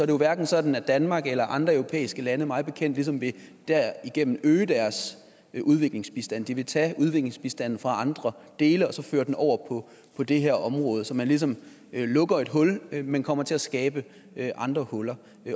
jo hverken sådan at danmark eller andre europæiske lande mig bekendt ligesom derigennem øge deres udviklingsbistand de vil tage udviklingsbistanden fra andre dele og så føre den over på det her område så man ligesom lukker et hul men kommer til at skabe andre huller